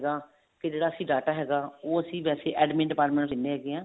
ਹੈਗਾ ਤੇ ਜਿਹੜਾ ਅਸੀਂ data ਹੈਗਾ ਉਹ ਅਸੀਂ ਵੈਸੇ admin department ਨੂੰ ਦਿੰਨੇ ਹੈਗੇ ਹਾਂ